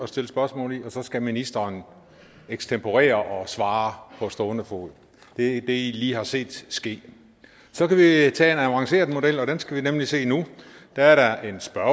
stille spørgsmål i og så skal ministeren ekstemporere og svare på stående fod det er det i lige har set ske så kan vi tage en avanceret model og den skal vi nemlig se nu der er der en spørger